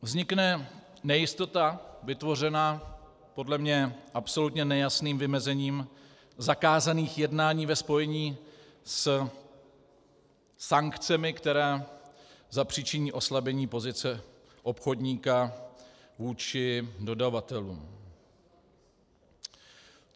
Vznikne nejistota vytvořená podle mě absolutně nejasným vymezením zakázaných jednání ve spojení se sankcemi, které zapříčiní oslabení pozice obchodníka vůči dodavatelům.